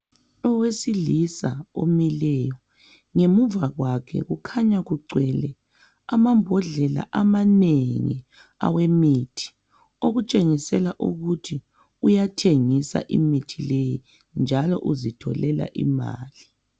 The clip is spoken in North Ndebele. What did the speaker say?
Owesilisa omileyo, ngemuva kwakhe kukhanya kugcwele amambodlela amanengi awemithi okutshengisela ukuthi uyathengisa imithi leyi njalo uzitholela imali.